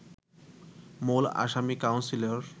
মূল আসামি কাউন্সিলর